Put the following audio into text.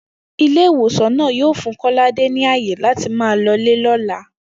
Ilé ìwòsàn náà yóò fún Kó̩ládé ní àyè láti máa lo̩lé ló̩la